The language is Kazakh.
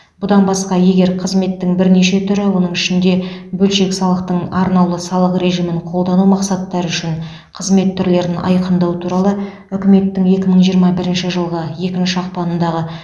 бұдан басқа егер қызметтің бірнеше түрі оның ішінде бөлшек салықтың арнаулы салық режимін қолдану мақсаттары үшін қызмет түрлерін айқындау туралы үкіметтің екі мың жиырма бірінші жылғы екінші ақпанындағы